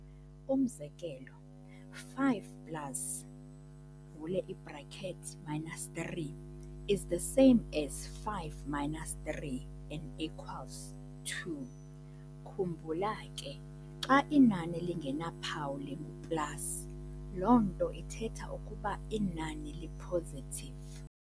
Umzekelo, 5 plus uvule i-braket minus 3 is the same as 5 minus 3, and equals 2. Khumbula ke, xa inani lingenaphawu lungu-plus, loo nto ithetha ukuba inani li-positive.